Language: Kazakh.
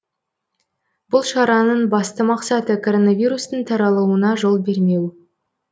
бұл шараның басты мақсаты коронавирустың таралуына жол бермеу